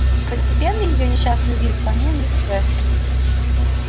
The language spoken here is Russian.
постепенно её несчастный вид сломил миссис вестон